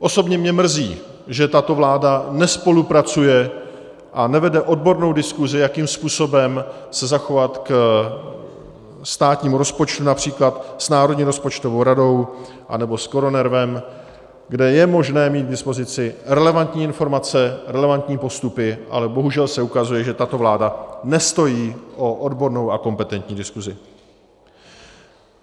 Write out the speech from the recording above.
Osobně mě mrzí, že tato vláda nespolupracuje a nevede odbornou diskuzi, jakým způsobem se zachovat k státnímu rozpočtu, například s Národní rozpočtovou radou anebo s KoroNERVem, kde je možné mít k dispozici relevantní informace, relevantní postupy, ale bohužel se ukazuje, že tato vláda nestojí o odbornou a kompetentní diskuzi.